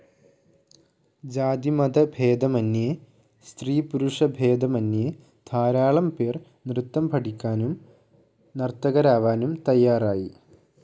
ജാതിമതഭേദമന്യേ, സ്ത്രീ പുരുഷഭേദമന്യേ ധാരാളം പേർ നൃത്തം പഠിക്കാനും നർത്തകരാവാനും തയ്യാറായി.